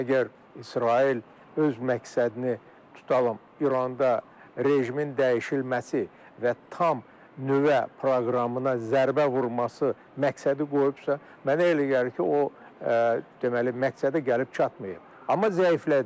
Əgər İsrail öz məqsədini, tutalım, İranda rejimin dəyişilməsi və tam nüvə proqramına zərbə vurması məqsədi qoyubsa, mənə elə gəlir ki, o deməli, məqsədə gəlib çatmayıb, amma zəiflədib.